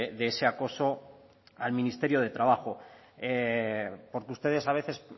de ese acoso al ministerio de trabajo porque ustedes a veces